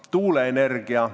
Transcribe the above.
Kas tuuleenergia?